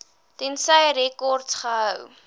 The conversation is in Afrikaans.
tensy rekords gehou